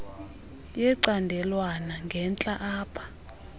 yecandelwana ngentla apha